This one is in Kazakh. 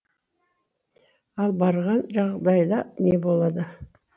ал барған жағдайда не болады